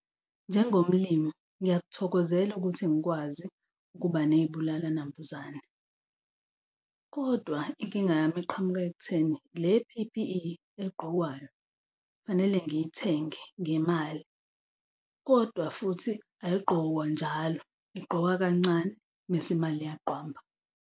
Njengomlimi ngiyakuthokozela ukuthi ngikwazi ukuba ney'bulala nambuzane, kodwa inkinga yami eqhamuka ekutheni le P_P_E egqokwayo kufanele ngiyithenge ngemali kodwa futhi ayigqokwa njalo. Igqokwa kancane mese imali iyaqwamba.